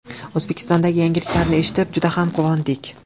O‘zbekistondagi yangiliklarni eshitib juda ham quvondik.